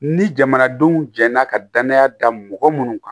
Ni jamanadenw jɛra ka danaya da mɔgɔ munnu kan